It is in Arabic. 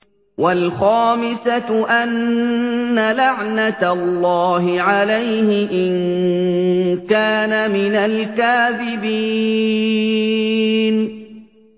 وَالْخَامِسَةُ أَنَّ لَعْنَتَ اللَّهِ عَلَيْهِ إِن كَانَ مِنَ الْكَاذِبِينَ